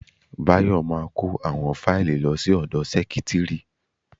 Bayo ma kó àwọn fáìlì lọ sí ọ̀dọ sẹ́kítrì.